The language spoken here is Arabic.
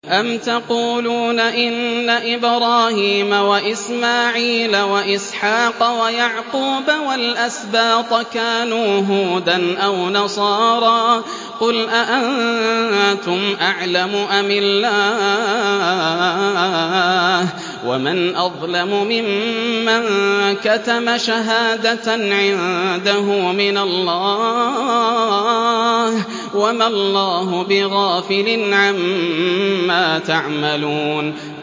أَمْ تَقُولُونَ إِنَّ إِبْرَاهِيمَ وَإِسْمَاعِيلَ وَإِسْحَاقَ وَيَعْقُوبَ وَالْأَسْبَاطَ كَانُوا هُودًا أَوْ نَصَارَىٰ ۗ قُلْ أَأَنتُمْ أَعْلَمُ أَمِ اللَّهُ ۗ وَمَنْ أَظْلَمُ مِمَّن كَتَمَ شَهَادَةً عِندَهُ مِنَ اللَّهِ ۗ وَمَا اللَّهُ بِغَافِلٍ عَمَّا تَعْمَلُونَ